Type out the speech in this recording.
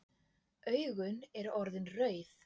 Augun eru orðin rauð.